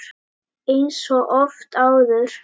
Eins og oft áður.